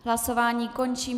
Hlasování končím.